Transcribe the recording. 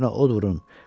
Evlərinə od vurun.